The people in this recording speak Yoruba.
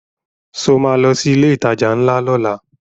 Ṣo ma lọ sí ilé ìtajà ńlá lọ́la?